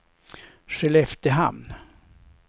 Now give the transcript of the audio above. Skelleftehamn